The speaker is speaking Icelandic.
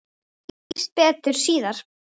Þetta skýrist betur síðar.